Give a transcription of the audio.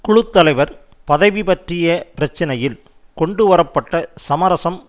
குழு தலைவர் பதவி பற்றிய பிரச்சினையில் கொண்டுவர பட்ட சமரசம்